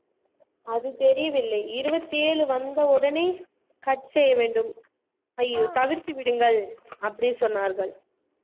அது தெரியவில்லை இருபத்தி ஏழு வந்த உடனே cut செய்ய வேண்டும் ஐயோ தவிர்த்து விடுங்கள் அப்படி சொன்னார்கள்